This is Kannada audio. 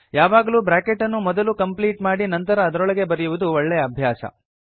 ಯಾವಾಗಲೂ ಬ್ರಾಕೆಟ್ ಅನ್ನು ಮೊದಲು ಕಂಪ್ಲೀಟ್ ಮಾಡಿ ನಂತರ ಅದರೊಳಗೆ ಬರೆಯುವುದು ಒಳ್ಳೆಯ ಅಭ್ಯಾಸ